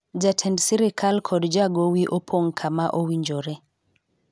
jatend sirikal kod jagowi opong' kama owinjore